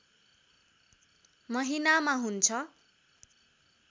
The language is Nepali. महिनामा हुन्छ